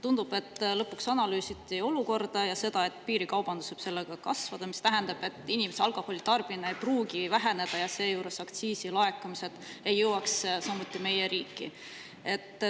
Tundub, et lõpuks analüüsiti olukorda ja, et piirikaubandus võib sellega kasvada, mis tähendab, et inimeste alkoholitarbimine ei pruugi väheneda, samas aga aktsiisilaekumised ei jõuaks meie riiki.